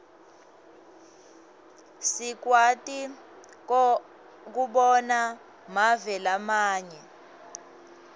sikwati kobona mave lamanye